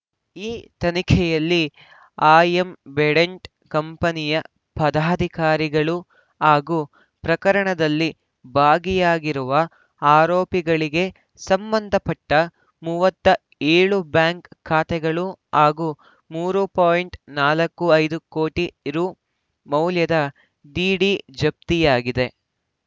ಈ ತನಿಖೆಯಲ್ಲಿ ಆ್ಯಂಬಿಡೆಂಟ್‌ ಕಂಪನಿಯ ಪದಾಧಿಕಾರಿಗಳು ಹಾಗೂ ಪ್ರಕರಣದಲ್ಲಿ ಭಾಗಿಯಾಗಿರುವ ಆರೋಪಿಗಳಿಗೆ ಸಂಬಂಧಪಟ್ಟ ಮೂವತ್ತ್ ಏಳು ಬ್ಯಾಂಕ್‌ ಖಾತೆಗಳು ಹಾಗೂ ಮೂರು ಪಾಯಿಂಟ್ ನಲವತ್ತ್ ಐದು ಕೋಟಿ ರು ಮೌಲ್ಯದ ಡಿಡಿ ಜಪ್ತಿಯಾಗಿದೆ